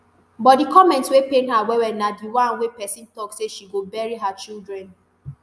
but di comment wey pain her wellwell na di one wey pesin tok say she go bury her children